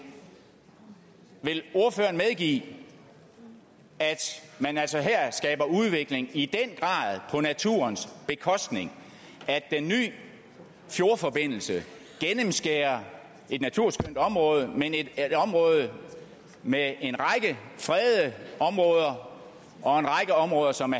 vil ordføreren medgive at man altså her skaber udvikling på naturens bekostning at den nye fjordforbindelse gennemskærer et naturskønt område med en række fredede områder og en række områder som